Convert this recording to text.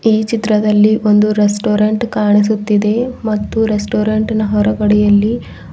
ಈ ಚಿತ್ರದಲ್ಲಿ ಒಂದು ರೆಸ್ಟೋರೆಂಟ್ ಕಾಣಿಸುತ್ತಿದೆ ಮತ್ತು ರೆಸ್ಟೋರೆಂಟ್ ನ ಹೊರಗಡೆಯಲ್ಲಿ--